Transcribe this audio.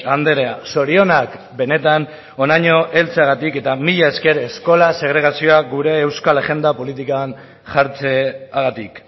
andrea zorionak benetan honaino heltzeagatik eta mila esker eskola segregazioa gure euskal agenda politikan jartzeagatik